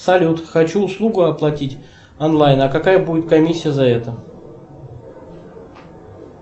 салют хочу услугу оплатить онлайн а какая будет комиссия за это